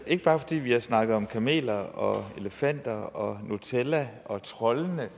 ikke bare fordi vi har snakket om kameler og elefanter og nutella og troldene